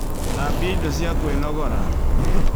Thambia indo cia kwĩnogora